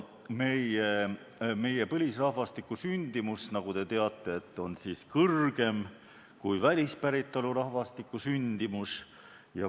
Meie põlisrahvastiku sündimus, nagu te teate, on kõrgem kui välispäritolu rahvastiku sündimus.